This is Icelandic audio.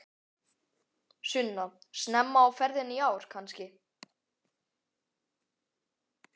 Sunna: Snemma á ferðinni í ár kannski?